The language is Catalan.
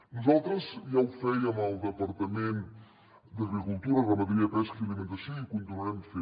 nosaltres ja ho fèiem al departament d’agricultura ramaderia pesca i alimentació i ho continuarem fent